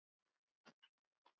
Hann átti enginn nema